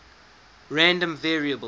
random variables